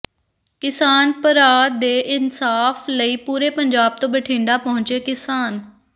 ਕਿਸਾਨ ਭਰਾ ਦੇ ਇਨਸਾਫ ਲਈ ਪੂਰੇ ਪੰਜਾਬ ਤੋਂ ਬਠਿੰਡਾ ਪਹੁੰਚੇ ਕਿਸਾਨ